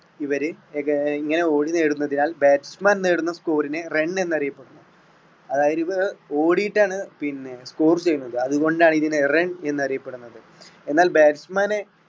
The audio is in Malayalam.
ഇവര് ഇങ്ങ~ഇങ്ങനെ ഓടി നേടുന്നതിനാൽ batsman നേടുന്ന score നെ run എന്ന് അറിയപ്പെടുന്നു അതായത് ഓടിയിട്ടാണ് പിന്നെ score ചെയ്യുന്നത് അതുകൊണ്ടാണ് ഇതിനെ run എന്ന് അറിയപ്പെടുന്നത് എന്നാൽ batsman മാനെ